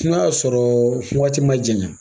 N'a y'a sɔrɔ fɔ waati ma jɛyan